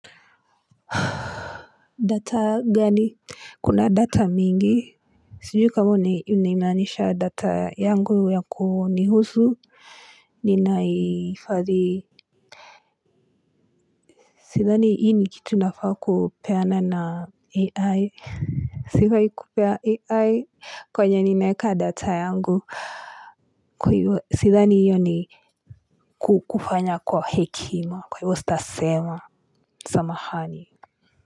Data gani? Kuna data mingi sijui kama ulimaanisha data yangu ya kunihusu ninahifadhi sidhani hii ni kitu nafaa kupeana na ai sifai kupea ai kwenye ninaeka data yangu sidhani hiyo ni kufanya kwa hekima kwa hivyo sitasema samahani.